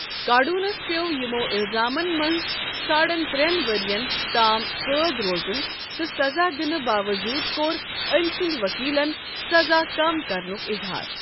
کارڈونَس پِٮ۪وٚو یِمو اِلزامَن منٛز ساڑَن ترٛٮ۪ن ؤرۍ یَن تام قٲد روزُن تہٕ سزا دِننہٕ باوٚوجوٗد کوٚر أمۍ سٕند وکیلَن سزا کم کرنُکھ اِظہار۔